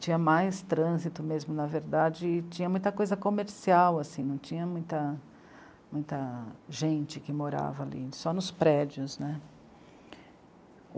tinha mais trânsito mesmo, na verdade, e tinha muita coisa comercial, assim, não tinha muita, muita gente que morava ali, só nos prédios, né.